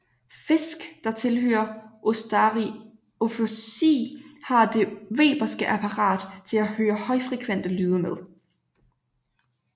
Fisk der tilhører Ostariophysi har det weberske apparat til at høre højfrekvente lyde med